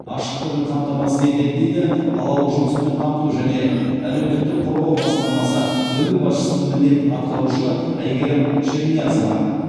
ашықтығын қамтамасыз етеді дейді қалалық жұмыспен қамту және әлеуметтік қорғау басқармасы бөлім басшысының міндетін атқарушы әйгерім шерниязова